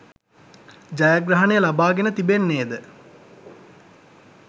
ජයග්‍රහණය ලබාගෙන තිබෙන්නේද